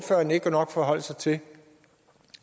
forholde sig til